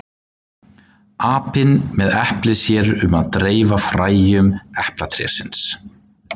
Apinn með eplið sér um að dreifa fræjum eplatrésins.